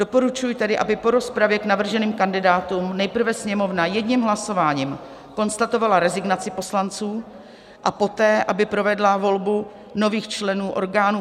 Doporučuji tedy, aby po rozpravě k navrženým kandidátům nejprve Sněmovna jedním hlasováním konstatovala rezignaci poslanců a poté aby provedla volbu nových členů orgánů